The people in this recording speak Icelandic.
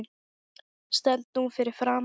Stend nú fyrir framan hana.